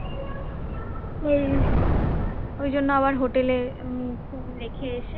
ওই জন্য আবার হোটেলে রেখে এসে